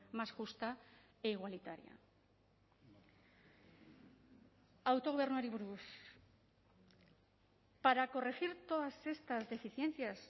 más justa e igualitaria autogobernuari buruz para corregir todas estas deficiencias